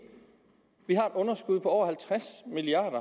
vi har et underskud på over halvtreds milliard